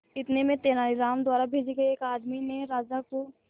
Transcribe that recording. इतने में तेनालीराम द्वारा भेजे गए एक आदमी ने राजा को